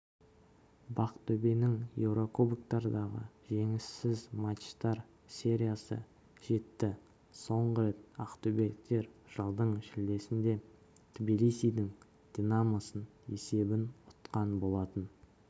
бақтөбенің еурокубоктардағы жеңіссіз матчтар сериясы жетті соңғы рет ақтөбеліктер жылдың шілдесінде тбилисидің динамосын есебімен ұтқан болатын